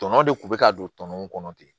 Tɔnɔ de kun bɛ ka don tɔnɔ mun kɔnɔ ten